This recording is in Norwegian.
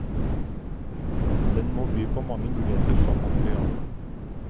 Den må by på mange muligheter som materiale.